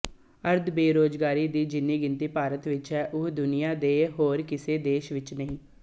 ਅਰਧਬੇਰੁਜ਼ਗਾਰਾਂ ਦੀ ਜਿੰਨੀ ਗਿਣਤੀ ਭਾਰਤ ਵਿੱਚ ਹੈ ਉਹ ਦੁਨੀਆ ਦੇ ਹੋਰ ਕਿਸੇ ਦੇਸ਼ ਵਿੱਚ ਨਹੀਂ